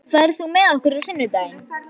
Lára, ferð þú með okkur á sunnudaginn?